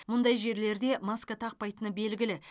мұндай жерлерде маска тақпайтыны белгілі